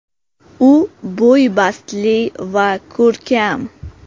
U bo‘y-bastli va ko‘rkam.